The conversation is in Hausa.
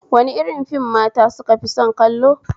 Wani irin fim mata sukafi son kallo?